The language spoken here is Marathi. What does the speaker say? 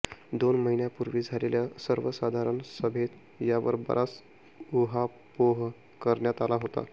दोन महिन्यांपूर्वी झालेल्या सर्वसाधारण सभेत यावर बराच उहापोह करण्यात आला होता